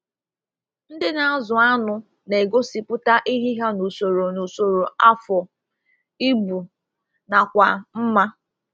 Ndị na-azụ anụ na-egosipụta ehi ha n'usoro n'usoro afọ, ibu, nakwa mmá.